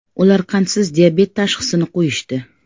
Ular qandsiz diabet tashxisini qo‘yishdi.